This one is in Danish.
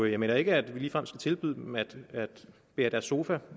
jeg mener ikke at vi ligefrem skal tilbyde dem at bære deres sofa